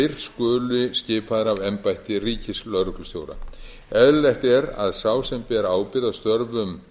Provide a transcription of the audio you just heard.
þeir skuli skipaðir af embætti ríkislögreglustjóra eðlileg er að sá sem ber ábyrgð á störfum